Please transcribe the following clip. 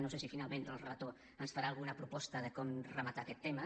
no sé si finalment el relator ens farà alguna proposta de com rematar aquest tema